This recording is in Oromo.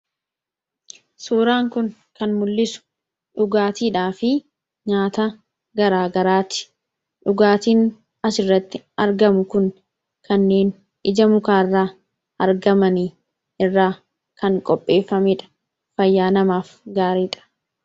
suuraan kun kan mul'isu dhugaatiidhaa fi nyaata garaa garaati dhugaatiin as irratti argamu kun kanneen ija mukaa irraa argamanii irraa kan qopheeffameedha fayyaa namaaf gaariidha